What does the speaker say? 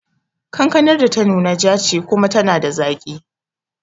Kankanar da ta nuna ja ce kuma tana da zaki